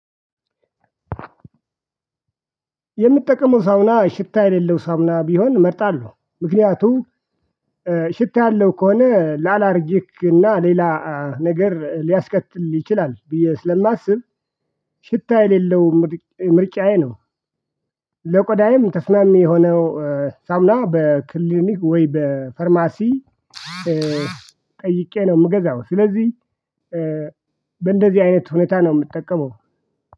የምጠቀመው ሳሙና ሽታ የሌለው ሳሙና ቢሆን እመርጣለሁ ምክንያቱም ሽታ ያለው ከሆነ ለአላርጅክ እና ሌላ ነገር ሊያስከትል ይችላል ብዬ ስለማስብ ሽታ የሌለው ምርጫዬ ነው። ለቆዳዬም ተስማሚ የሆነው ሳሙና በክሊኒክ ወይ በፋርማሲ ጠይቄ ነው የምገዛው። ስለዚህ በእንደዚህ አይነት ሁኔታ ነው የምጠቀመው።